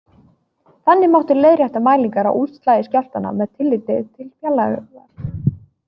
Þannig mátti leiðrétta mælingar á útslagi skjálftanna með tilliti til fjarlægðar.